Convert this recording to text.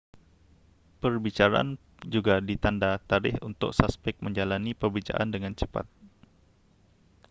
perbicaraan juga ditanda tarikh untuk suspek menjalani perbicaraan dengan cepat